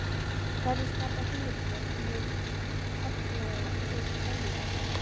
Hverjir skapa hugmyndirnar um hið karllæga og hið kvenlega?